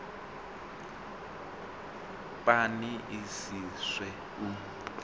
pani i si swe u